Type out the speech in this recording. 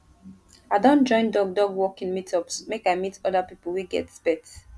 i don join dog dog walking meetups make i meet oda pipo wey get pet